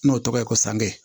N'o tɔgɔ ye ko sange